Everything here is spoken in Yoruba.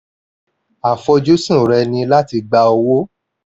àfojúsùn rẹ ni láti gba owó